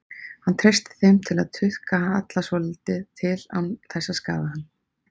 Hann treysti þeim til að tukta Halla svolítið til án þess að skaða hann.